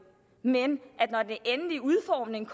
men når den endelige udformning